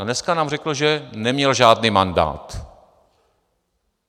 A dneska nám řekl, že neměl žádný mandát.